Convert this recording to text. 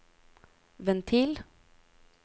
ventil